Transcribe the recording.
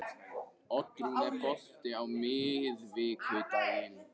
Oddrún, er bolti á miðvikudaginn?